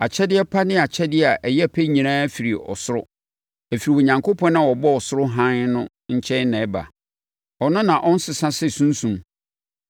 Akyɛdeɛ pa ne akyɛdeɛ a ɛyɛ pɛ nyinaa firi ɔsoro; ɛfiri Onyankopɔn a ɔbɔɔ ɔsoro hann no nkyɛn na ɛba. Ɔno na ɔnsesa sɛ sunsum.